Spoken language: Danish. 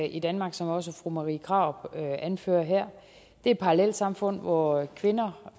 i danmark som også fru marie krarup anfører her det er parallelsamfund hvor kvinder